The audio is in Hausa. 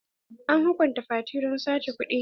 An hukunta fati don sata kuɗi?